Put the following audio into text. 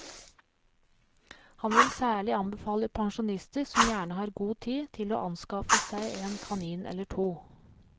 Han vil særlig anbefale pensjonister som gjerne har god tid, til å anskaffe seg en kanin eller to.